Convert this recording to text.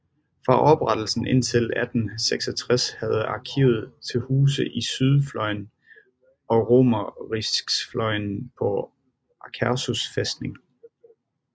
Fra oprettelsen indtil 1866 havde arkivet til huse i Sydfløyen og Romeriksfløyen på Akershus fæstning